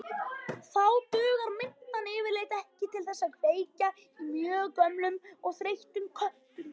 Þá dugar mintan yfirleitt ekki til þess að kveikja í mjög gömlum og þreyttum köttum.